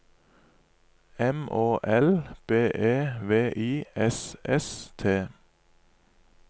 M Å L B E V I S S T